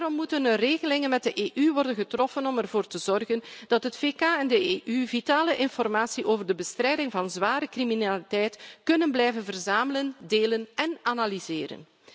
Daarom moeten regelingen met de EU worden getroffen om ervoor te zorgen dat het VK en de EU vitale informatie over de bestrijding van zware criminaliteit kunnen blijven verzamelen, delen en analyseren.